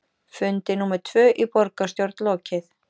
Fundi númer tvö í borgarstjórn lokið